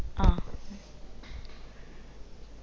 ആ